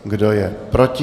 Kdo je proti?